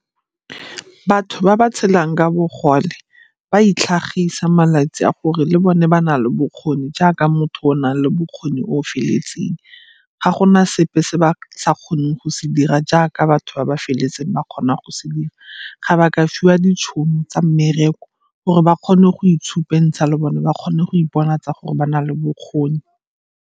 Batho ba ba tshelang ka bogole ba itlhagisa malatsi a gore le bone ba na le bokgoni jaaka motho o na le bokgoni o o feletseng. Ga gona sepe se ba kgone go se dira jaaka batho ba ba feleletse ba kgona go se dira. Ga ba ka fiwa ditšhono tsa mmereko o gore ba kgone go itshupentsha le bone ba kgone go iponatsa gore ba na le bokgoni.